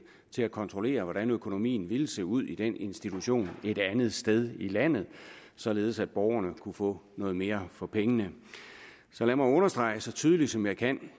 til at kontrollere hvordan økonomien ville se ud i den institution et andet sted i landet således at borgerne kunne få mere for pengene så lad mig understrege det så tydeligt som jeg kan